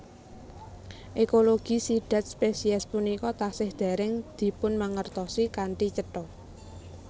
Ekologi sidhat spesies punika tasih dèrèng dipunmangertosi kanthi cetha